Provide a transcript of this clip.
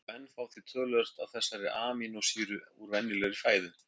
menn fá því töluvert af þessari amínósýru úr venjulegri fæðu